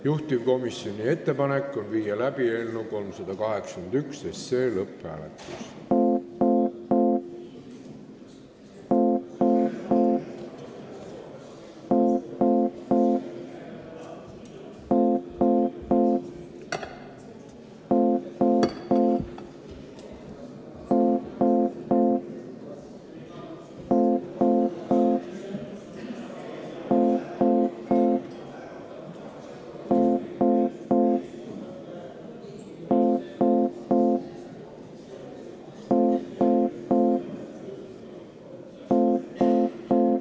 Juhtivkomisjoni ettepanek on panna eelnõu 381 lõpphääletusele.